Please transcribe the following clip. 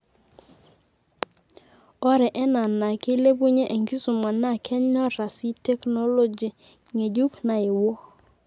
ore ena naa keilepunye enkisuma naa kenyoraa sii teknologi ng'ejuk nayewuo.